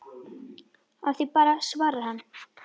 Af því bara svarar hann.